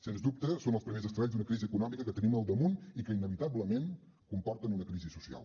sens dubte són els primers estralls d’una crisi econòmica que tenim al damunt i que inevitablement comporten una crisi social